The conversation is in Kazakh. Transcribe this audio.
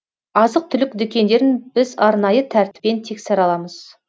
азық түлік дүкендерін біз арнайы тәртіппен тексере аламыз